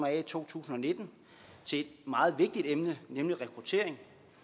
af i to tusind og nitten til et meget vigtigt emne nemlig rekruttering